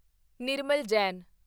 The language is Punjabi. ਨਿਰਮਲ ਜੈਨ